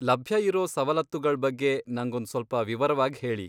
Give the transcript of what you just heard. ಲಭ್ಯ ಇರೋ ಸವಲತ್ತುಗಳ್ ಬಗ್ಗೆ ನಂಗೊಂದ್ ಸ್ವಲ್ಪ ವಿವರವಾಗ್ ಹೇಳಿ.